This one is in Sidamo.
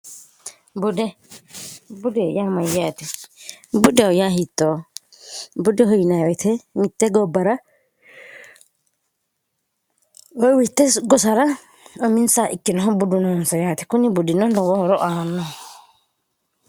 bude budeyyaa mayyaati buddeho yaa hittoo bude huyinawete mitte gobbara woywiitte gosara uminsa ikkinoho budunoonsa yaate kunni buddino nowoohoro aanno